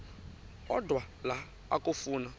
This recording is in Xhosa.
odwa la okafuna